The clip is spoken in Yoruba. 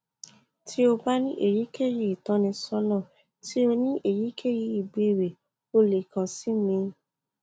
ti o ba ni eyikeyi itọnisọna ti o ni eyikeyi ibeere o le kan si mi